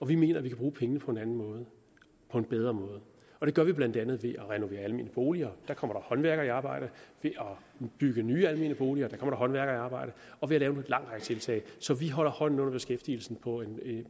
vi mener at vi kan bruge pengene på en anden og bedre måde det gør vi blandt andet ved at renovere almene boliger der kommer håndværkere i arbejde ved at bygge nye almene boliger hvor der kommer håndværkere i arbejde og ved at lave en lang række tiltag så vi holder hånden under beskæftigelsen